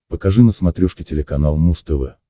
покажи на смотрешке телеканал муз тв